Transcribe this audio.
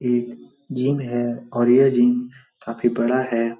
एक जिम है और ये जिम काफी बड़ा है।